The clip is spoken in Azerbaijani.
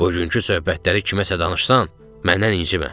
Bugünkü söhbətləri kiməsə danışsan, məndən incimə.